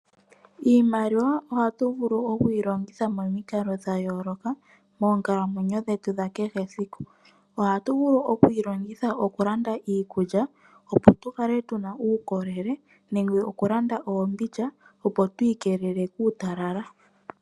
Iimaliwa ohatu vulu oku yi longitha momikalo dha yooloka moonkalamwenyo dhetu dha kehe esiku. Ohatu vulu oku yi longitha oku landa iikulya, opo tukale tuna uukolele nenge oku landa oombidja, opo tu ikelele kuutalala.